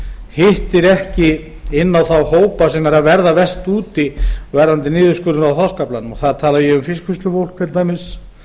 hittir ekki inn á þá hópa sem eru að verða verst úti varðandi niðurskurðinn á þorskaflanum og þar tala ég um fiskvinnslufólk til dæmis